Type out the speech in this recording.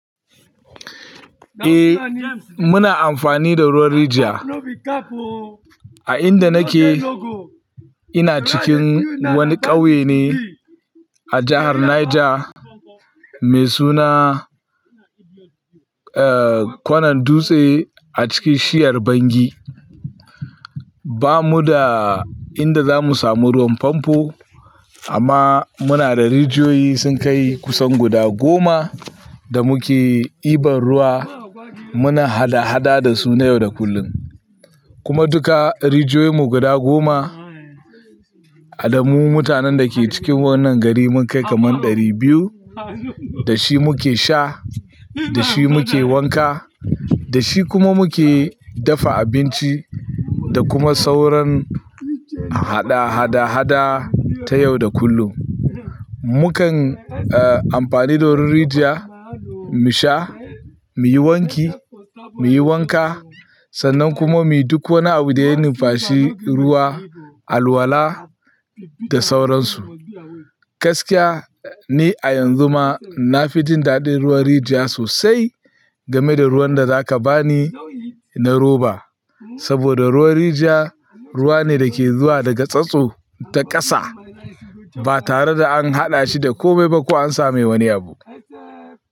Eh muna amfani da ruwan rijiya. A inda nake ina cikin wani ƙauye ne a jahar Niger mai suna, eh, kwanan dutse a cikin shiyar Bangi. Ba mu da inda za mu samu ruwan famfo amma muna da rijiyoyi sun kai kusan guda goma da muke ibar ruwa. Muna hada-hada da su na yau da kullum. Kuma duka rijiyoyinmu guda goma, a damu mutanen da ke cikin wannan gari mun kai kaman ɗari biyu, da shi muke sha, da shi muke wanka, da shi kuma muke dafa abinci da kuma sauran hada-hada-hada ta yau da kullum. Mukan, eh, amfani da ruwan rijiya mu sha, muyi wanki, muyi wanka sannan kuma muyi duk wani abu da ya nufashi ruwa, alwala da sauransu. Gaskiya ne a yanzu ma na fi jin daɗin ruwan rijiya sosai game da ruwan da za ka ba ni na roba. Saboda ruwan rijiya ruwa ne da ke zuwa daga tsatso ta ƙasa ba tare da an haɗa shi da komai ba ko an samai wani abu.